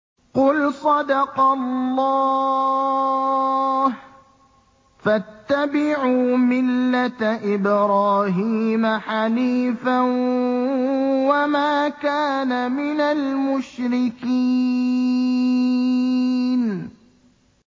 قُلْ صَدَقَ اللَّهُ ۗ فَاتَّبِعُوا مِلَّةَ إِبْرَاهِيمَ حَنِيفًا وَمَا كَانَ مِنَ الْمُشْرِكِينَ